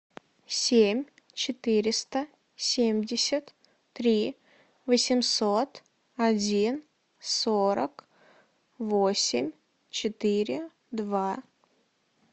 семь четыреста семьдесят три восемьсот один сорок восемь четыре два